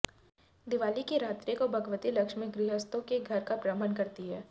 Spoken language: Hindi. दिवाली की रात्री को भगवती लक्ष्मी गृहस्थों के घर का भ्रमण करती हैं